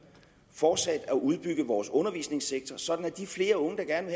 fortsat at udbygge vores undervisningssektor sådan at de flere unge der gerne